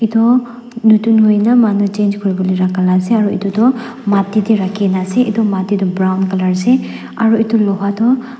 toh noton hoina manu change kuribolae rakha la ase aro edu toh mati tae rakhinaase edu mati toh brown colour ase aro edu loha toh--